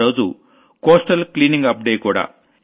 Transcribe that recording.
ఆ రోజు coastal cleaning up day కూడా